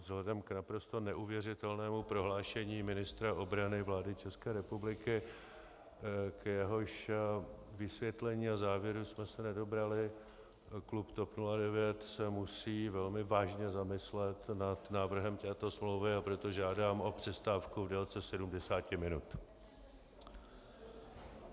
Vzhledem k naprosto neuvěřitelnému prohlášení ministra obrany vlády České republiky, k jehož vysvětlení a závěru jsme se nedobrali, klub TOP 09 se musí velmi vážně zamyslet nad návrhem této smlouvy, a proto žádám o přestávku v délce 70 minut.